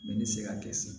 Ne bɛ se ka kɛ sisan